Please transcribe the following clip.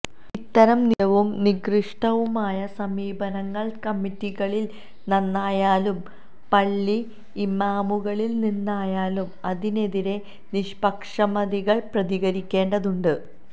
ഇത്തരം നിന്ദ്യവും നികൃഷ്ടവുമായ സമീപനങ്ങള് കമ്മിറ്റികളില് നിന്നായാലും പള്ളി ഇമാമുകളില് നിന്നായാലും അതിനെതിരെ നിഷ്പക്ഷമതികള് പ്രതികരിക്കേണ്ടതുണ്ട്